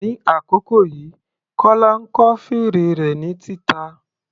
Ní àkókò yìí, Kọla ń kọ́ fèrè rẹ̀ ní títa.